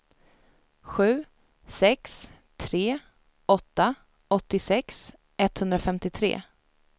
sju sex tre åtta åttiosex etthundrafemtiotre